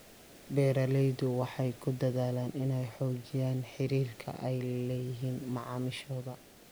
Beeraleydu waxay ku dadaalaan inay xoojiyaan xiriirka ay la leeyihiin macaamiishooda.